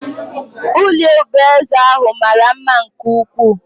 Ụlọ obi eze ahụ mara mma nke ukwuu